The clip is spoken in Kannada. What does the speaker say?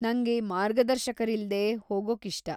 ನಂಗೆ ಮಾರ್ಗದರ್ಶಕರಿಲ್ದೇ ಹೋಗೋಕಿಷ್ಟ.